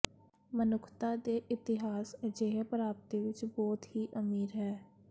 ਮਨੁੱਖਤਾ ਦੇ ਇਤਿਹਾਸ ਅਜਿਹੇ ਪ੍ਰਾਪਤੀ ਵਿੱਚ ਬਹੁਤ ਹੀ ਅਮੀਰ ਹੈ